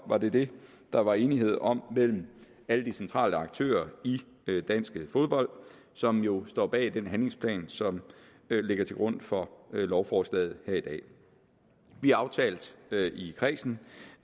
var det det der var enighed om mellem alle de centrale aktører i dansk fodbold som jo står bag den handlingsplan som ligger til grund for lovforslaget her i dag vi aftalte i kredsen